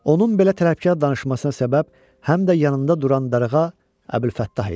Onun belə tərəfkar danışmasına səbəb həm də yanında duran darğa Əbülfəttah idi.